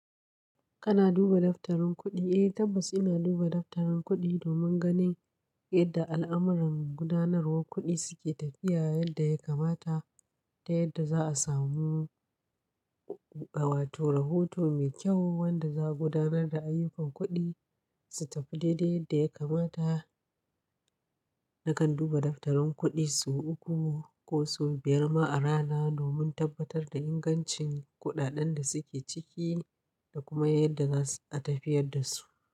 Kana duba daftarin kuɗi? Eh tabbas ina duba daftarin kuɗi domin ganin yadda al'amuran gudanarwar kuɗi suke tafiya yadda ya kamata da yadda za a samu a watau rahoto mai kyau wanda za a gudanar da ayyukan kuɗi su tafi daidai yadda ya kamata. Nakan duba daftarin kuɗi sau uku ko sau biyar ma a rana domin tabbatar da ingancin kuɗaɗen da suke ciki da kuma yadda za a tafiyar da su.